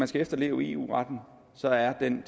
skal efterleve eu retten så er den